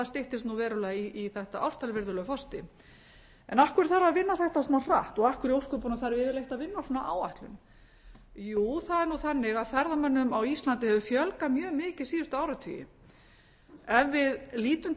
styttist nú verulega í þetta ártal virðulegi forseti en af hverju þarf að vinna þetta svona hratt og af hverju í ósköpunum þarf yfirleitt að vinna að svona áætlun jú það er nú þannig að ferðamönnum á íslandi hefur fjölgað mjög mikið síðustu áratugi ef við lítum